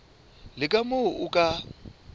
le ka moo o ka